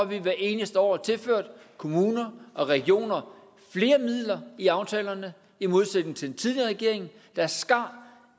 vi hvert eneste år tilført kommuner og regioner flere midler i aftalerne i modsætning til den tidligere regering der skar